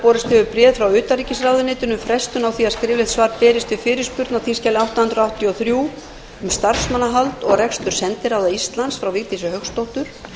borist hefur bréf frá utanríkisráðuneytinu um frestun á því að skriflegt svar berist við fyrirspurn á þingskjali átta hundruð áttatíu og þrjú um starfsmannahald og rekstur sendiráða íslands frá vigdísi hauksdóttur